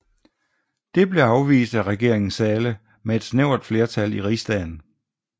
Det blev afvist af regeringen Zahle med et snævert flertal i Rigsdagen